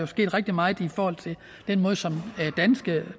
sket rigtig meget i forhold til den måde som